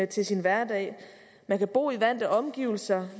til sin hverdag man kan bo i vante omgivelser